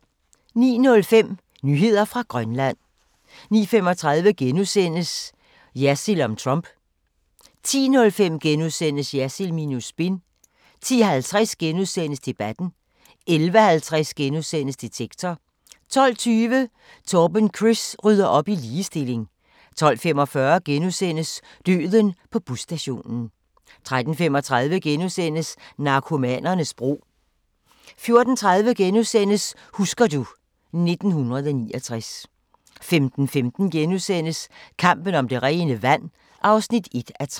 09:05: Nyheder fra Grønland 09:35: Jersild om Trump * 10:05: Jersild minus spin * 10:50: Debatten * 11:50: Detektor * 12:20: Torben Chris rydder op i ligestilling 12:45: Døden på busstationen * 13:35: Narkomanernes bro * 14:30: Husker du ... 1969 * 15:15: Kampen om det rene vand (1:3)*